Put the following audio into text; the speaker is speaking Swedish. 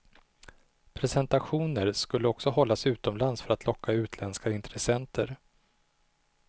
Presentationer skulle också hållas utomlands för att locka utländska intressenter.